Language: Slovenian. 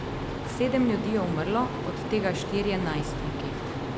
Sedem ljudi je umrlo, od tega štirje najstniki.